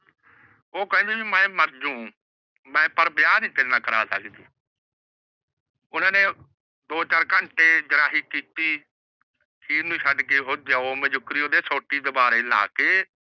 ਉਹ ਕਹਿੰਦੀ ਵੀ ਮੈ ਮਰ ਜੂ। ਪਰ ਵਿਆਹ ਨਹੀਂ ਤੇਰੇ ਨਾਲ ਕਰ ਸਕਦੀ। ਓਹਨਾ ਨੇ ਦੋ ਚਾਰ ਘੰਟੇ ਜਿਰਾਹੀ ਕਿੱਤੀ। ਅਖੀਰ ਨੀ ਥੱਕ ਕੇ ਉਹ ਦਿਓ ਓਂਦੇ ਉਹ ਸੋਟੀ ਦੁਬਾਰੇ ਲੈ ਕੇ